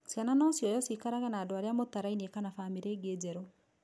Ciana no cioyo cikarage na andũ arĩa mũtarainie kana famĩlĩ ĩngĩ njeru.